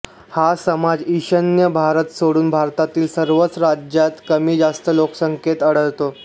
हा समाज ईशान्य भारत सोडून भारतातील सर्वच राज्यांत कमी जास्त लोकसंख्येत आढळतो